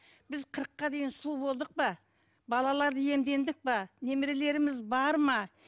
біз қырыққа дейін сұлу болдық па балаларды иемдендік пе немерелеріміз бар ма